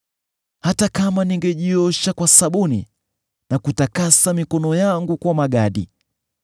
Hata kama ningejiosha kwa sabuni na kutakasa mikono yangu kwa magadi,